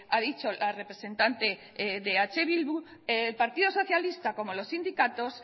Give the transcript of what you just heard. ha dicho la representante de eh bildu el partido socialista como los sindicatos